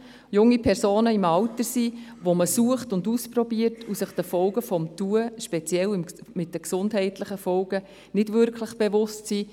Junge Personen sind in einem Alter, in dem man ausprobiert und sich den Folgen des Tuns, im speziellen den gesundheitlichen Folgen, nicht bewusst ist.